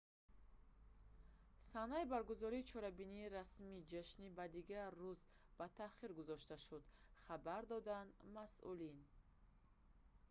санаи баргузории чорабинии расмии ҷашнӣ ба дигар рӯз ба таъхир гузошта шуд хабар доданд масъулин